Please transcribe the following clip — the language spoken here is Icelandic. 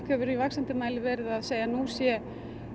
verið í vaxandi mæli verið að segja að nú sé